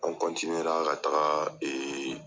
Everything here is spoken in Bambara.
An ka taga